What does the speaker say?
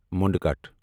مُنڈ کٹھَ